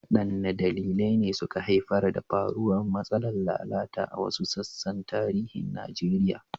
Wadanne dalilai ne suka haifar da faruwar matsalar lalata a wasu sassan tarihin Najeriya?